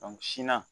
sina